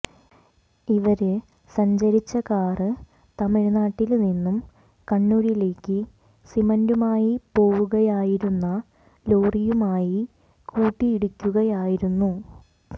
ഇവര് സഞ്ചരിച്ച കാര് തമിഴ്നാട്ടില് നിന്നും കണ്ണൂരിലേക്ക് സിമന്റുമായി പോവുകയായിരുന്ന ലോറിയുമായി കൂട്ടിയിടിക്കുകയായിരുന്നു